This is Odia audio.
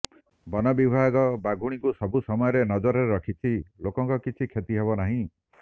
ବନ ବିଭାଗ ବାଘୁଣୀକୁ ସବୁ ସମୟରେ ନଜରରେ ରଖିଛି ଲୋକଙ୍କର କିଛି କ୍ଷତିହେବ ନାହିଁ